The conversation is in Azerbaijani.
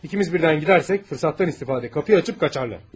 İkimiz birdən gedərsək, fürsətdən istifadə qapıyı açıb qaçar.